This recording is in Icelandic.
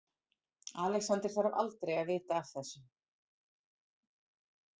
Alexander þarf aldrei að vita af þessu.